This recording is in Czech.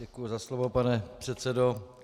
Děkuji za slovo, pane předsedo.